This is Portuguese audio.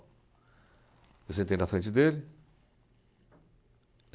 Eu sentei na frente dele.